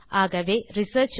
ஆகவே ரிசர்ச்